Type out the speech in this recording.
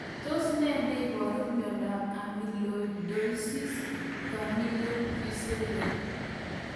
Tos ne neiparu miondop Amyloidosis familial visceral